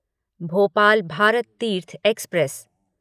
Bhopal Bharat Tirth express